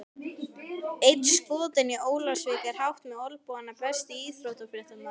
Einn skotinn í Ólafsvík er hátt með olnbogana Besti íþróttafréttamaðurinn?